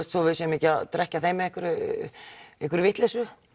svo við séum ekki að drekkja þeim í einhverri vitleysu